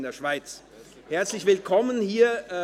Herzlich willkommen hier!